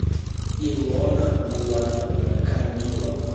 илона булатовна камилова